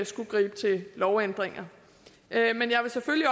skulle gribe til lovændringer men jeg vil selvfølgelig